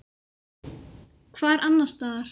Hvar annars staðar!